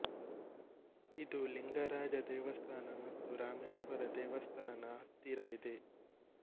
ಇದು ಲಿಂಗಾರಾಜ ದೇವಸ್ಥಾನ ಮತ್ತು ರಾಮೇಶ್ವರ ದೇವಸ್ಥಾನದ ಹತ್ತಿರ ಇದೆ